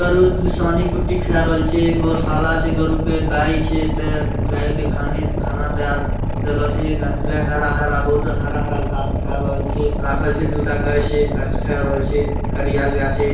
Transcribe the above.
सानी कुट्टी खेय रहल छै गोशाला छै गरू के गाय छै ऐता गाय के खाना देय देला छै गाय हरा-हरा बहुद ----